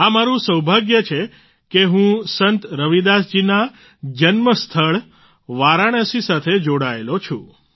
આ મારું સૌભાગ્ય છે કે હું સંત રવિદાસ જીના જન્મ સ્થળ વારાણસી સાથે જોડાયેલો છું